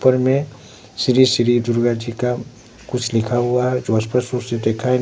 ऊपर में श्री श्री दुर्गा जी का कुछ लिखा हुआ है जो अस्पष्ट रूप से दिखाई--